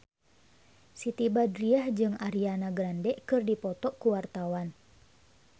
Siti Badriah jeung Ariana Grande keur dipoto ku wartawan